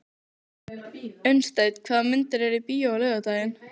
Unnsteinn, hvaða myndir eru í bíó á laugardaginn?